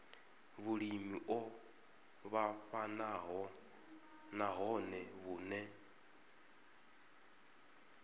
vhulimi o vhofhanaho nahone vhune